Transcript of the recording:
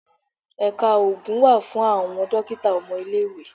Ẹ̀ka oògùn wà fún àwọn dókítà ọmọ ilé-ìwé.